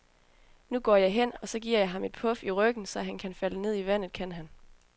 Nu går jeg hen, og så giver jeg ham i et puf i ryggen, og så kan han falde ned i vandet, kan han.